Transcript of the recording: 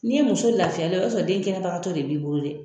N'i ye muso lafiyalen ye o y'a sɔrɔ den kɛnɛbagatɔ de b'i bolo dɛ